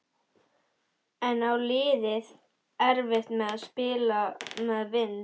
En á liðið erfitt með að spila með vindi?